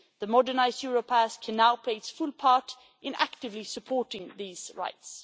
The modernised Europass can now play its full part in actively supporting these rights.